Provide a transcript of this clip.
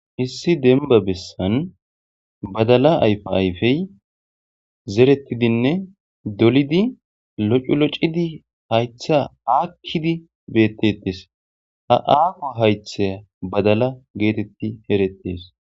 Issi demba besan badala ayife zeretidinne dolidi loc'iloc'idinne hayita akidi betetes ha haho hayithayi badala getetidi eretes